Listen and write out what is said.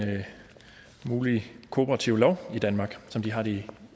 mulig kooperativlov i danmark som de har i